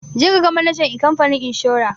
Je ka ga manajan ikamfanin inshora!